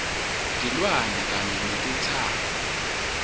tilwane kanye netitsako